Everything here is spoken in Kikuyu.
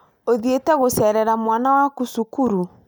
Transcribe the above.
ũthiĩti gũceerera mwana waku cukuru?